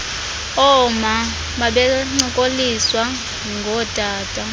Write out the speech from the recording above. ooma babencokoliswa ngootata